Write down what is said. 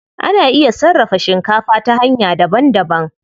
Ana iya sarrafa shikafa ta hanya daban daban.